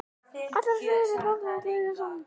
Allir á sviðinu fagna og gleðjast saman.